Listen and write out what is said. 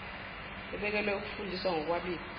ebekelwe ukufundisa ngokwabiwa